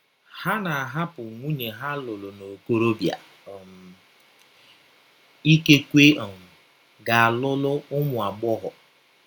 Ha na - ahapụ ‘ nwụnye ha lụrụ n’okọrọbịa um, ’ ikekwe um gaa lụrụ ụmụ agbọghọ.